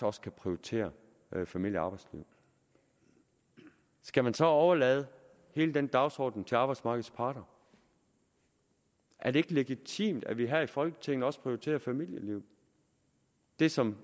også kan prioritere familie og arbejdsliv skal man så overlade hele den dagsorden til arbejdsmarkedets parter er det ikke legitimt at vi her i folketinget også prioriterer familielivet det som